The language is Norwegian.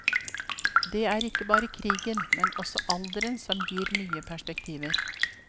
Det er ikke bare krigen, men også alderen som gir nye perspektiver.